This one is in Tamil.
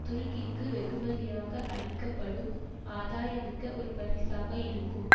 துருக்கிக்கு வெகுமதியாக அளிக்க படும் ஆதாயம்மிக்க ஒரு பரிசாக இருக்கும்